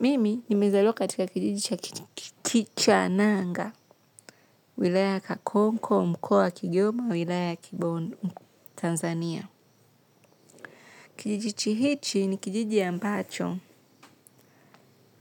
Mimi nimezaliwa katika kijiji cha Kichananga wilaya ya Kibondo Tanzania. Kijijichi hichi ni kijiji ambacho,